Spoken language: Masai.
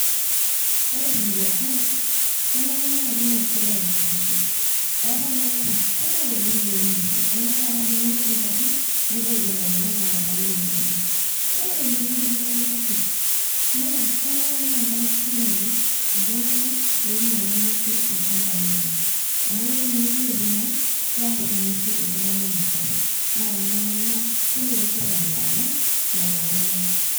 Ore teduata ai, kenare na kiing'or sirkali ing'uesin. Eetae ilaleta kumok oleng' lo ng'uesin. Enaata akedumu ake ng'uesin pookin, nepuo aikenoo telelo aleta lo ng'uesin. Ore tenemidimayu ina pi, na kenare na kelak sirkali iltung'anak loinyala ing'uesin ilchambai lenye. Amu ketii nye iwuejiting naa, kearr ing'uesin iltung'anak metuata. Na kenare naa, kelotu sirkali alak lelo tung'anak.